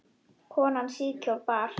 Konan síðkjól bar.